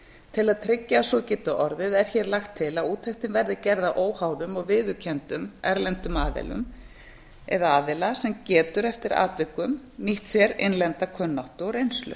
til að tryggja að svo geti orðið er hér lagt til að úttektin verði gerð af óháðum og viðurkenndum erlendum aðilum eða aðila sem getur eftir atvikum nýtt sér innlenda kunnáttu og reynslu